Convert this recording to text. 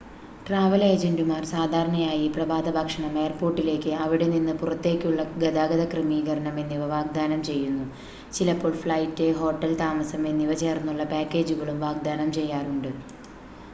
travel ഏജൻ്റുമാർ സാധാരണയായി പ്രഭാതഭക്ഷണം എയർപോർട്ടിലേക്ക് / അവിടെ നിന്ന് പുറത്തേക്കുള്ള ഗതാഗത ക്രമീകരണം എന്നിവ വാഗ്ദാനം ചെയ്യുന്നു ചിലപ്പോൾ ഫ്ലൈറ്റ് ഹോട്ടൽ താമസം എന്നിവ ചേർന്നുള്ള പാക്കേജുകളും വാഗ്ദാനം ചെയ്യാറുണ്ട്